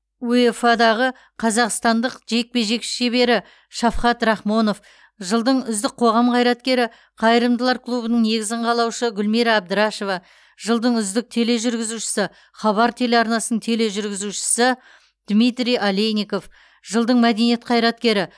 уефа дағы қазақстандық жекпе жек шебері шафкат рахмонов жылдың үздік қоғам қайраткері қайырымдылар клубының негізін қалаушы гүлмира әбдірашева жылдың үздік тележүргізушісі хабар телеарнасын тележүргізушісі дмитрий олейников жылдың мәдениет қайраткері